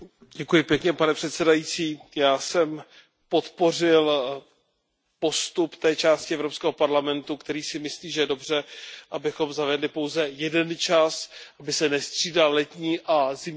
Pane předsedající, já jsem podpořil postup té části Evropského parlamentu, která si myslí, že je dobře, abychom zavedli pouze jeden čas, aby se nestřídal letní a zimní čas.